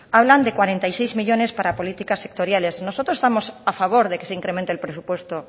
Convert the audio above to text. hablan de cuarenta y seis millónes para políticas sectoriales nosotros estamos a favor de que se incremente el presupuesto